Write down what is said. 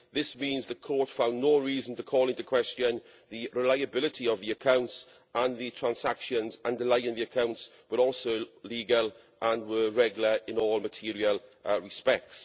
This means the Court found no reason to call into question the reliability of the accounts, and the transactions underlying the accounts were also legal and were regular in all material respects.